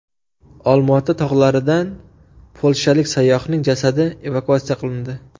Olmaota tog‘laridan polshalik sayyohning jasadi evakuatsiya qilindi .